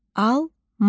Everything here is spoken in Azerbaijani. Alma.